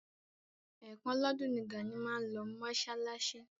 Ẹ̀ kan lọ́dún ni Gàní máa ń lọ mọ́ṣáláṣí.